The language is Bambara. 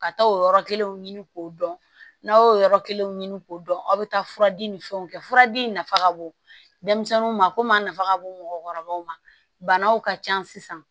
Ka taa o yɔrɔ kelenw ɲini k'o dɔn n'aw y'o yɔrɔ kelen ɲini k'o dɔn aw bɛ taa fura di ni fɛnw kɛ furadi nafa ka bon denmisɛnninw ma ko min a nafa ka bon mɔgɔkɔrɔbaw ma banaw ka ca sisan